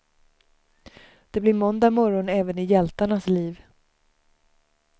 Det blir måndag morgon även i hjältarnas liv.